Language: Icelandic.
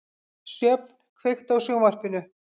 Sjöfn, kveiktu á sjónvarpinu.